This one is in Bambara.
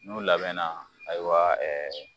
N'u labɛnna ayiwa ɛɛ